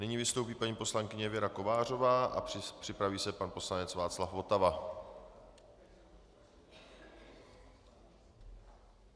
Nyní vystoupí paní poslankyně Věra Kovářová a připraví se pan poslanec Václav Votava.